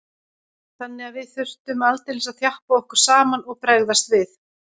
Þannig að við þurftum aldeilis að þjappa okkur saman og bregðast við.